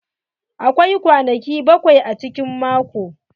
Akwai kwanaki bakwai a cikin mako.